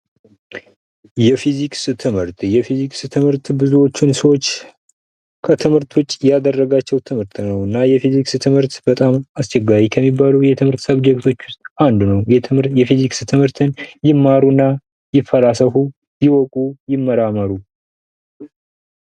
የፊዚክስ ትምህርት የፊዚክስ ትምህርት ብዙዎችን ሰዎች ከትምህርት ውጪ ያደረጋቸው ትምህርት ነውና የፊዚክስ ትምህርት በጣም አስቸጋሪ ከሚባሉ የትምህርት ውስጥ አንዱ ነው። የፊዚክስ ትምህርትን ይማሩ እናይፈላሰፉ ይወቁ ይመራመሩ።